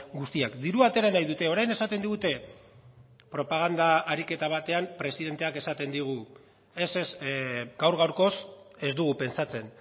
guztiak dirua atera nahi dute orain esaten digute propaganda ariketa batean presidenteak esaten digu ez ez gaur gaurkoz ez dugu pentsatzen